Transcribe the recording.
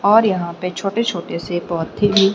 और यहां पे छोटे-छोटे से पौधे भी--